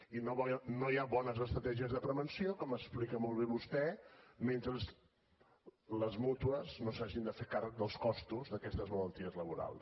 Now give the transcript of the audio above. i no hi haurà bones estratègies de prevenció com explica molt bé vostè mentre les mútues no s’hagin de fer càrrec dels costos d’aquestes malalties laborals